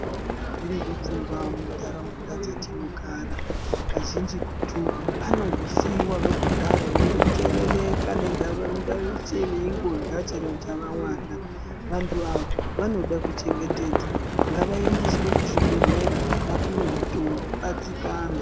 Tinavo varwere vefungwa muntaraunda dzatinogara kazhinjitu vanongosivavo kudero vonzerereka nendau yeshe veingorya chero chavavana. Vantu ava vanoda kuchengetedza ngavaendeswe kuzvibhedhlera vapive mitombo vadzikame.